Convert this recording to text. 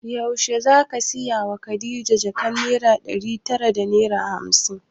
Yaushe zaka saya wa khadija jakan naira ɗari tara da hamsin?